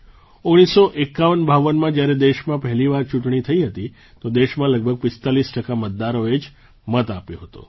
1૯5152માં જ્યારે દેશમાં પહેલી વાર ચૂંટણી થઈ હતી તો દેશમાં લગભગ 45 ટકા મતદારોએ જ મત આપ્યો હતો